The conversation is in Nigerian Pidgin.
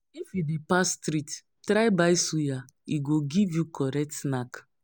If you dey pass street, try buy suya; e go give you correct snack.